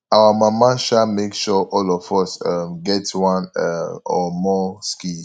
our mama um make sure all of us um get one um or more skills